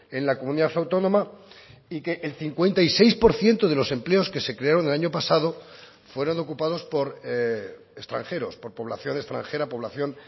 en la comunidad autónoma y que el cincuenta y seis por ciento de los empleos que se crearon el año pasado fueron ocupados por extranjeros por población extranjera población